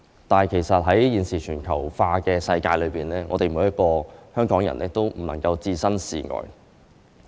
但其實在現時全球化的世界中，每一個香港人都不能置身事外。